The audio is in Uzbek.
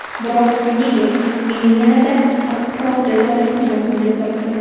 Biroq liga meni yanada qattiqroq jazolashni lozim deb topdi.